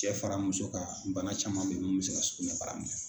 Cɛ fara muso kan bana caman bɛ min bɛ se ka sugunɛ bara minɛ.